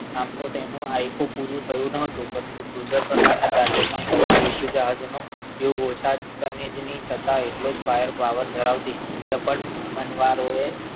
આમ તો તેનું આખું પૂરું થયું ન હતું પરંતુ Cruiser પ્રકારના ગાજરમાં કરતા યુદ્ધ જહાજનું ઓછા ખનીજની છતાં એટલો જ fire power ધરાવતી ચપ્પલ મનવારોએ